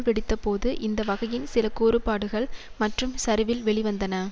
வெடித்தபோது இந்த வகையின் சில கூறுபாடுகள் மற்றும் சரிவில் வெளிவந்தன